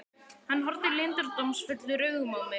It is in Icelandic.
Hann horfði leyndardómsfullum augum á mig.